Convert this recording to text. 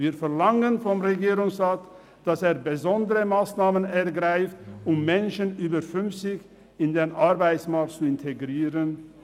Wir verlangen vom Regierungsrat, dass er besondere Massnahmen ergreift, um Menschen über fünfzig Jahre in den Arbeitsmarkt zu integrieren.